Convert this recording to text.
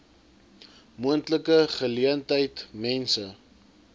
moontlike geleentheid mense